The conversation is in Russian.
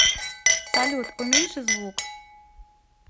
салют уменьши звук